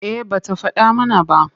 Eh ba ta faɗa mana ba.